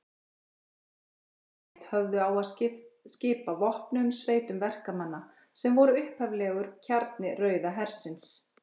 Þessi sovét höfðu á að skipa vopnuðum sveitum verkamanna, sem voru upphaflegur kjarni Rauða hersins.